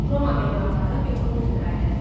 Roma memarları betonu ixtira elədilər.